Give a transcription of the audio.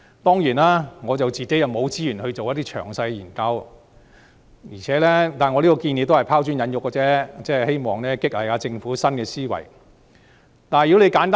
當然，我沒有資源進行詳細研究，我這項建議也只是拋磚引玉而已，希望激勵政府施政要有新思維。